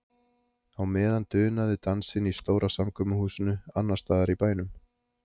Á meðan dunaði dansinn í stóra samkomuhúsinu annars staðar í bænum.